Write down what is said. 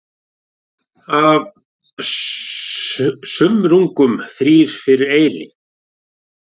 Af sumrungum þrír fyrir eyri.